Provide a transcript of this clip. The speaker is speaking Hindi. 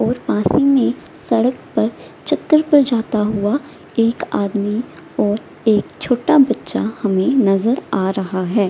और पास ही मे सड़क पर चक्कर पर जाता हुआ एक आदमी और एक छोटा बच्चा हमे नजर आ रहा है।